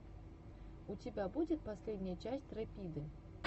у тебя будет последняя часть рэпиды